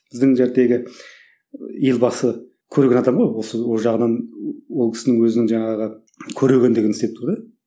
біздің елбасы көреген адам ғой осы ол жағынан ол кісінің өзінің жаңағы көрегендігін істеп тұр да